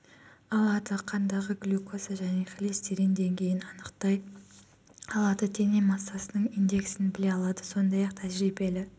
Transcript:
алады қандағы глюкоза және холестерин деңгейін анықтай алады дене массасының индексін біле алады сондай-ақ тәжірибелі